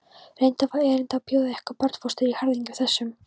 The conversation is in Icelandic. Reyndar var erindið að bjóða ykkur barnfóstur í harðindum þessum.